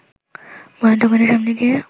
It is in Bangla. বইয়ের দোকানের সামনে গিয়ে